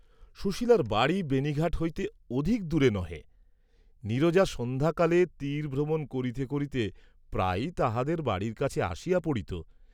সুশীলার বাড়ী বেণীঘাট হইতে অধিক দূরে নহে, নীরজা সন্ধ্যাকালে তীরভ্রমণ করিতে করিতে প্রায়ই তাঁহাদের বাড়ীর কাছে আসিয়া পড়িত।